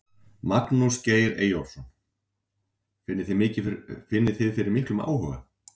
Magnús Geir Eyjólfsson: Finnið þið fyrir miklum áhuga?